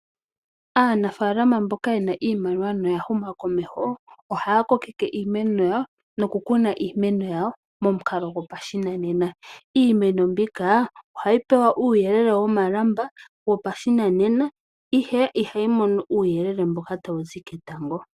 Aanafaalama mboka yena iimaliwa noya huma komeho , ohaya kokeke iimeno yawo nokuyi kuna yawo momukalo gopashinanena. Iimeno mbika ohayi pewa uuyelele womalamba wopashinanena, ihe ihayi mono uuyelele mboka tawu zi ketango .